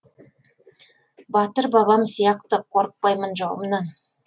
батыр бабам сияқты қорықпаймын жауымнан